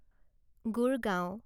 Gurgaon